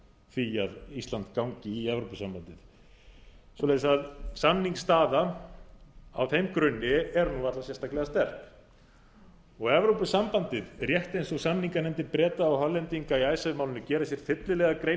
því að ísland gangi í evrópusambandið svoleiðis að samningsstaða á þeim grunni er varla sérstaklega sterk evrópusambandið rétt eins og samninganefndir breta og hollendinga í icesave málinu gera sér fyllilega grein